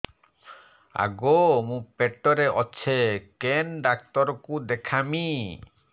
ଆଗୋ ମୁଁ ପେଟରେ ଅଛେ କେନ୍ ଡାକ୍ତର କୁ ଦେଖାମି